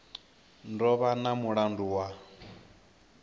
do vha na mulandu wa